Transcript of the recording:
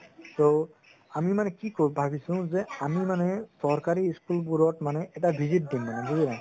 ত আমি মানে কি ভবিছো যে আমি মানে চৰকাৰি school বোৰত মানে এটা visit দিম মানে বুজিলা